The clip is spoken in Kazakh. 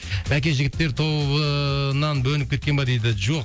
бәке жігіттер тобынан бөлініп кеткен ба дейді жоқ